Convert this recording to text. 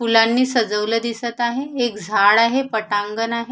फुलांनी सजवल दिसत आहे एक झाड आहे पटांगण आहे.